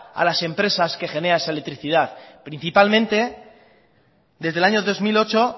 a las empresas que generan esa electricidad principalmente desde el año dos mil ocho